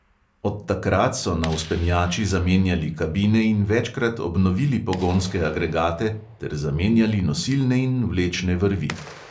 Od takrat so na vzpenjači zamenjali kabine in večkrat obnovili pogonske agregate ter zamenjali nosilne in vlečne vrvi.